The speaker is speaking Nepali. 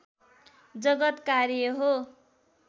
जगत् कार्य हो